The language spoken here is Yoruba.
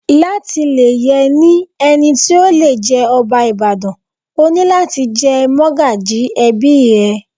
Láti lè yẹ ní ẹni tí ó le jẹ́ ọba Ìbàdàn, o ní láti jẹ́ mọ́gàjí ẹbí ẹ.